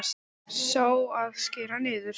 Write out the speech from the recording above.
Sá, að skera niður.